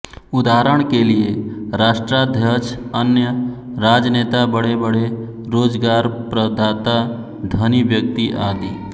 उदाहरण के लिये राष्ट्राध्यक्ष अन्य राजनेता बड़ेबड़े रोजगारप्रदाता धनी व्यक्ति आदि